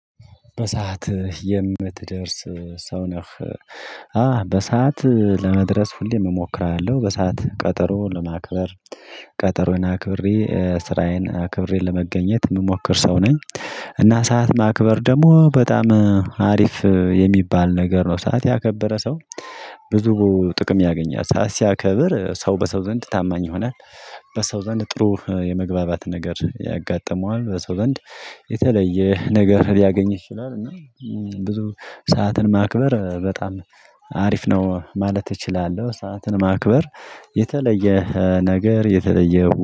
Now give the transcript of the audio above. በሰአት የምትደርስ ሰው ነህ አህ በሰአት ለመድረስ ሁሌም እሞክራለሁ በሰአት ቀጠሮ ለማክበር ቀጠሮዬን አክብሬ ስራዬን አክብሬ ለመገኘት የምሞክር ሰው ነኝ። እና ሰዓት ማክበር ደግሞ በጣም አሪፍ የሚባል ነገር ነው። ሰዓት ያከበረ ሰው ብዙ ጥቅም ያገኛል ሰዓት ሲያከብር ሰው በሰው ዘንድ ታማኝ ይሆናል። በሰው ዘንድ ጥሩ የመግባባት ነገር ያጋጥመዋል በሰው ዘንድ የተለየ ነገር ሊያገኝ ይችላል። እና ብዙ ሰዓትን ማክበር በጣም አሪፍ ነው ማለት እችላለሁ። ሰዓትን ማክበር የተለየ ነገር የተለየ